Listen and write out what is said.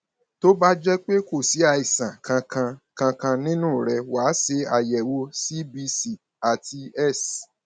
tó bá jẹ pé kò sí àìsàn kankan kankan nínú rẹ wá ṣe àyẹwò cbc àti s